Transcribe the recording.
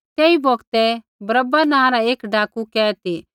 तेई बौगतै बरअब्बा नाँ रा एक डाकू कैद ती